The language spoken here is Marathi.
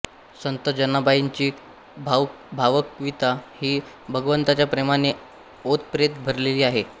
संत जनाबाईंची भावकविता ही भगवंताच्या प्रेमाने ओतप्रेत भरलेली आहे